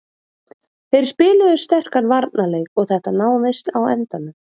Þeir spiluðu sterkan varnarleik og þetta náðist á endanum